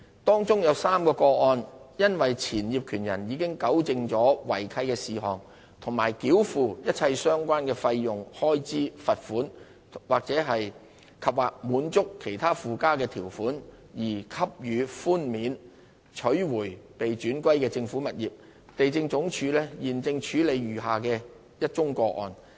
當中有3宗個案因前業權人已糾正違契事項及繳付一切相關的費用、開支、罰款及/或滿足其他附加的條款，而獲給予寬免，取回被轉歸政府的物業。地政總署現正處理餘下的1宗個案。